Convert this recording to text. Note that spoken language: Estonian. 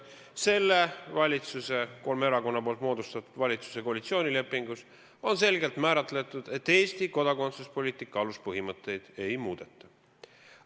Selle, kolme erakonna moodustatud valitsuse koalitsioonilepingus on selgelt kindlaks määratud, et Eesti kodakondsuspoliitika aluspõhimõtteid ei muudeta.